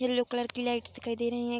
Yellow colour की lights दिखाई दे रही हैं।